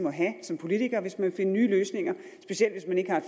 må have som politiker hvis man vil finde nye løsninger specielt hvis man ikke har